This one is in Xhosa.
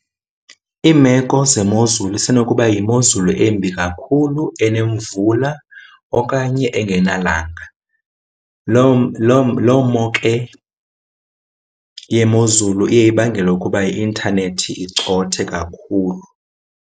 Iimeko zemozulu isenokuba yimozulu embi kakhulu, enemvula okanye engenalanga. Lo lo lo mo ke yemozulu iye ibangele ukuba i-intanethi icothe kakhulu.